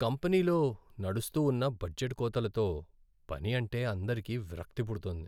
కంపెనీలో నడుస్తూ ఉన్న బడ్జెట్ కోతలతో పని అంటే అందరికీ విరక్తి పుడుతోంది.